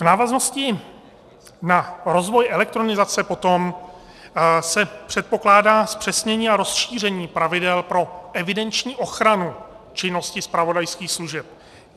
V návaznosti na rozvoj elektronizace potom se předpokládá zpřesnění a rozšíření pravidel pro evidenční ochranu činnosti zpravodajských služeb.